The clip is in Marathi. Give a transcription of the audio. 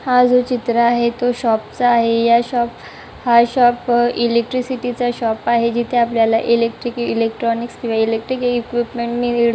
हा जो चित्र आहे तो शॉपचा आहे या शॉप हा शॉप इलेक्ट्रिसिटी चा शॉप आहे जिथे आपल्याला इलेक्ट्रिक किवा इलेक्ट्रॉनिक्स ईक्विपमेंट मिळ --